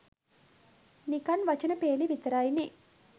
නිකන් වචන පේලි විතරයි නේ